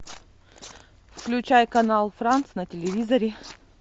включай канал франц на телевизоре